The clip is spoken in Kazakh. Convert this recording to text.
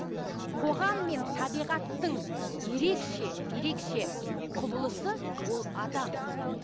қоғам мен табиғаттың ерекше ерекше құбылысы ол адам